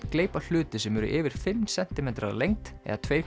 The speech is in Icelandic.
gleypa hluti sem eru yfir fimm sentimetrar að lengd eða tvær